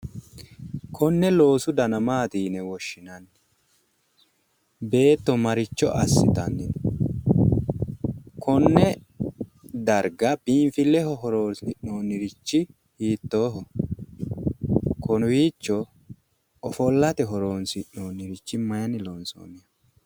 Konne loosu dana maati yine woshshinanni beetto marichcho assitanni no konne darga biinfilleho horonsi'noonnirichchi hiittooho kowiichcho ofollate horonsi'noonnirichchi mayinni lonsoonniho